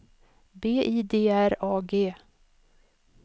B I D R A G